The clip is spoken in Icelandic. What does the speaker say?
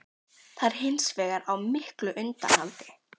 Það er hins vegar á miklu undanhaldi